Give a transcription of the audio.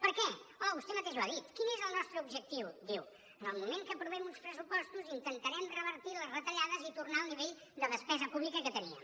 per què home vostè mateix ho ha dit quin és el nostre objectiu diu en el moment que aprovem uns pressupostos intentarem revertir les retallades i tornar al nivell de despesa pública que teníem